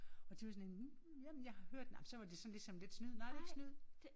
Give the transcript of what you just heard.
Og de var sådan jamen jeg har har hørt ej men så var det sådan ligesom lidt snyd nej det er ikke snyd